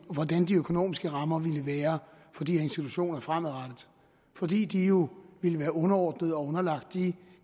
økonomiske rammer ville være for de institutioner fremadrettet fordi de jo ville være underordnet og underlagt de